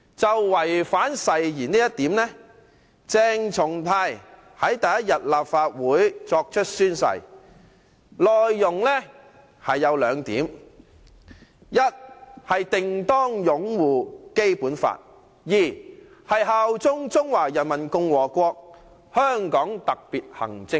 就違反誓言這一點，鄭松泰於立法會作出宣誓時，承諾：第一，定當擁護《基本法》；第二，效忠中華人民共和國和香港特別行政區。